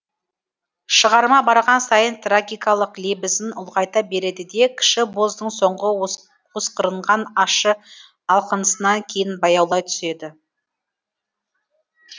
шығарма барған сайын трагикалық лебізін ұлғайта береді де кіші боздың соңғы осқырынған ащы алқынысына кейін баяулай түседі